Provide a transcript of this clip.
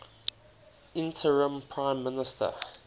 interim prime minister